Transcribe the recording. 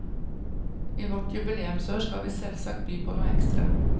I vårt jubileumsår skal vi selvsagt by på noe ekstra.